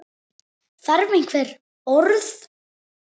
Þarf einhver orð?